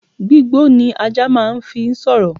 Gbígbó ni ajá máà ń fi sọ̀rọ̀